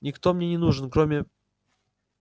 никто мне не нужен кроме